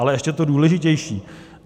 Ale ještě to důležitější.